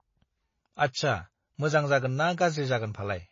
आच्छा मोजां जागोनना गाज्रि जागोन फालाय